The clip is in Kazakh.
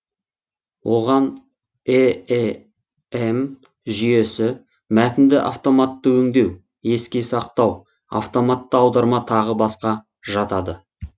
оған эем жүйесі мәтінді автоматты өндеу еске сақтау автоматты аударма тағы басқа жатады